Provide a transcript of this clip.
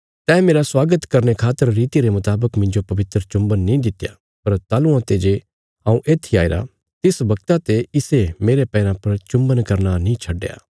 तैं मेरा स्वागत करने खातर रितिया रे मुतावक मिन्जो पवित्र चुम्बन नीं दित्या पर ताहलुआं ते जे हऊँ येत्थी आईरा तिस बगता ते इसे मेरे पैराँ पर चुम्बन करना नीं छडया